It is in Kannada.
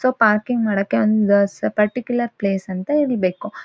ಸೋ ಪಾರ್ಕಿಂಗ್ ಮಾಡಕ್ಕೆ ಒಂದ್ ಸೋ ಪಾರ್ಟಿಕ್ಲ್ಯೂರ್ ಪ್ಲೇಸ್ ಅಂತ ಹಿಡಿಬೇಕು.